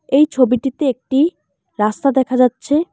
এই ছবিটিতে একটি রাস্তা দেখা যাচ্ছে।